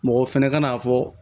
Mɔgɔ fɛnɛ ka n'a fɔ